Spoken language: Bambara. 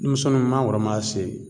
Denmisɛnnunw mangoro maa se